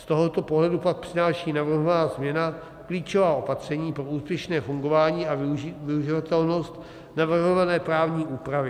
Z tohoto pohledu pak přináší navrhovaná změna klíčová opatření pro úspěšné fungování a využitelnost navrhované právní úpravy.